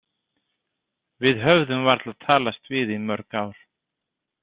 Við höfðum varla talast við í mörg ár.